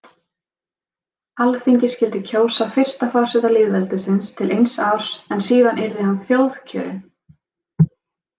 Alþingi skyldi kjósa fyrsta forseta lýðveldisins til eins árs en síðan yrði hann þjóðkjörinn.